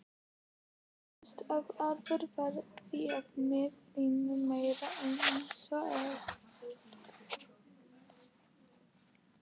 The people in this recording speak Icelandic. Stúdentafélagið var því með hreinan meirihluta einsog eðlilegt mátti teljast.